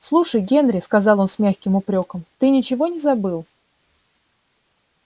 слушай генри сказал он с мягким упрёком ты ничего не забыл